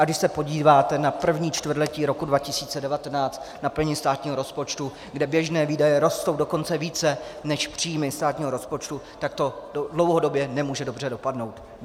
A když se podíváte na první čtvrtletí roku 2019, na plnění státního rozpočtu, kde běžné výdaje rostou dokonce více než příjmy státního rozpočtu, tak to dlouhodobě nemůže dobře dopadnout.